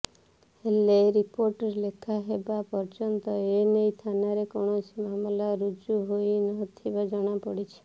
ହେଲେ ରିପୋର୍ଟ ଲେଖାହେବା ପର୍ଯ୍ୟନ୍ତ ଏନେଇ ଥାନାରେ କୌଣସି ମାମଲା ରୁଜୁ ହୋଇ ନଥିବା ଜଣାପଡ଼ିଛି